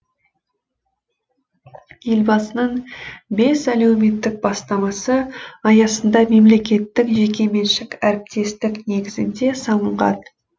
елбасының бес әлеуметтік бастамасы аясында мемлекеттік жекеменшік әріптестік негізінде салынған